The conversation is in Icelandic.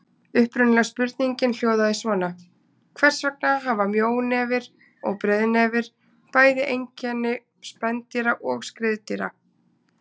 Upprunalega spurningin hljóðaði svona: Hvers vegna hafa mjónefir og breiðnefir bæði einkenni spendýra og skriðdýra?